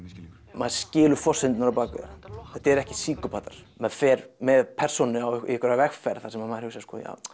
maður skilur forsendurnar á bak við það þetta eru ekki maður fer með persónu í einhverja vegferð þar sem maður hugsar